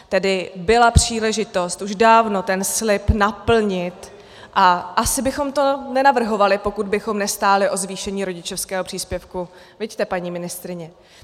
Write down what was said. Tedy byla příležitost už dávno ten slib naplnit a asi bychom to nenavrhovali, pokud bychom nestáli o zvýšení rodičovského příspěvku, viďte, paní ministryně?